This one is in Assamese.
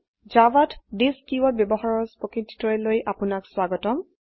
জাভাত থিচ কীওয়াৰ্ড ব্যবহাৰৰ স্পকেন টিউটোৰীয়েললৈ আপোনাক স্বাগতম